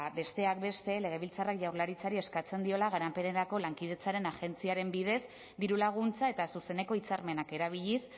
besteak beste legebiltzarrak jaurlaritzari eskatzen diola garapenerako lankidetzaren agentziaren bidez dirulaguntza eta zuzeneko hitzarmenak erabiliz